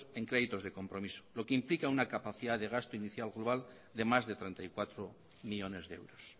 en créditos de compromiso lo que implica una capacidad de gasto inicial global de más de treinta y cuatro millónes de euros